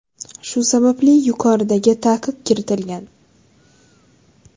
Shu sababli yuqoridagi taqiq kiritilgan.